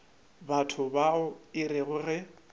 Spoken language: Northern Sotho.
batho bao e rego ge